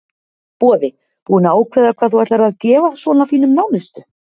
Boði: Búin að ákveða hvað þú ætlar að gefa svona þínum nánustu?